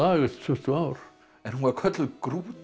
eftir tuttugu ár en hún var kölluð